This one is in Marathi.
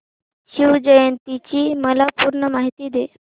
शिवजयंती ची मला पूर्ण माहिती दे